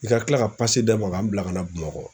I ka tila ka d'a ma ka n bila kana Bamakɔ